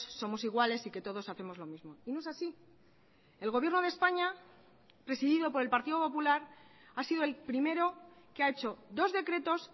somos iguales y que todos hacemos lo mismo y no es así el gobierno de españa presidido por el partido popular ha sido el primero que ha hecho dos decretos